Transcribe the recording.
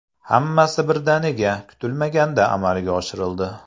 Hammasi birdaniga, kutilmaganda amalga oshirildi.